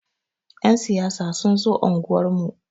Ƴan siyasa sun zo unguwar mu.